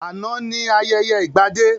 Àná ni ayẹyẹ ìgbadé